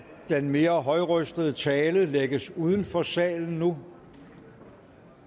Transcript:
den mere højrøstede tale lægges uden for salen nu